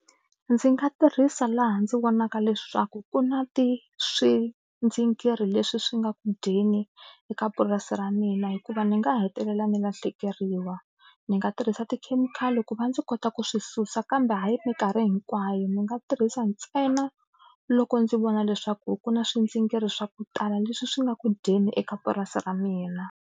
Ndzi nga tirhisa laha ndzi vonaka leswaku ku na swindzingiri leswi swi nga ku dyeni eka purasi ra mina hikuva ndzi nga hetelela ni lahlekeriwa ni nga tirhisa tikhemikhali ku va ndzi kota ku swi susa kambe hayi minkarhi hinkwayo ni nga tirhisa ntsena loko ndzi vona leswaku ku na swindzingiri swa ku tala leswi swi nga ku dyeni eka purasi ra mina.